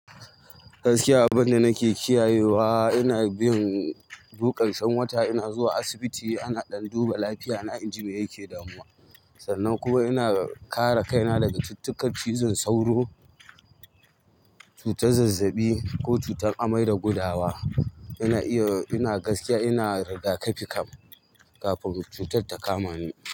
Gaskiya abinda nake kiyayewa ina bin duk ƙarshen wata ina zuwa asibiti a ɗan duba lafiyana inji me yake damuna sannan kuma ina kare kaina daga cututtukan cizon sauro, cutar zazzaɓi ko cutar amai da gudawa. Ina iya, ina gaskiya ina rigakafi kam kafin cutar ta kama ni.